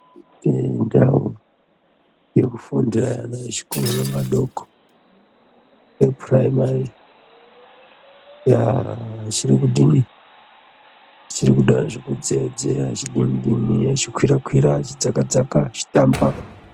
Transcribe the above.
Ndau yekufundira vana vechikoro vadoko vepuraimari yaaa chiri kudii chikuda zvekudzeya dzeya chidini dini chikwira kwira chidzaka dzaka chichitamba.